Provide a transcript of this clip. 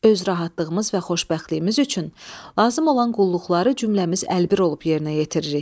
Öz rahatlığımız və xoşbəxtliyimiz üçün lazım olan qulluqları cümləmiz əlbir olub yerinə yetiririk.